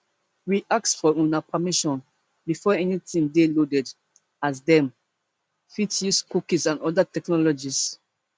we ask for una permission before anytin dey loaded as dem fit dey use cookies and oda technologies